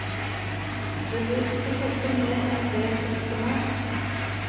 Det bør ikke koste mer enn det koste må.